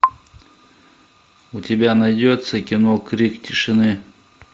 у тебя найдется кино крик тишины